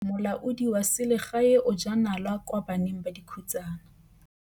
Molaodi wa selegae o jaa nala kwa baneng ba dikhutsana.